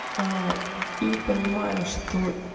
а и понимаю что